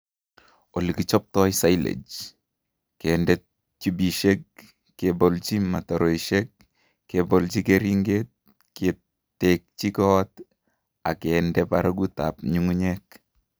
Olekichotboi Silage :kende tubishek, kebolji mtaroishek ,kebolji keringet, ketekyi koot ak kende barakutab nyung'unyek